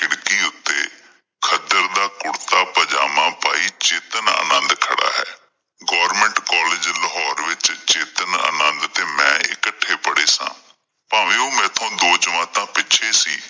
ਖੱਦਰ ਦਾ ਕੁਰਤਾ ਪੰਜਾਮਾਂ ਪਾਈ ਚਿਤਨਾਨੰਦ ਖੜਾ ਹੈ। ਗੋਰਮੇਂਟ ਕਾਲਜ ਲਾਹੋਰ ਵਿੱਚ ਚਿਤਨਾਨੰਦ ਤੇ ਮੈਂ ਇਕੱਠੇ ਪੜ੍ਹੇ ਸਨ, ਭਾਵੇਂ ਓਹ ਮੇਰੇ ਤੋਂ ਦੋ ਜਮਾਤਾਂ ਪਿੱਛੇ ਸੀ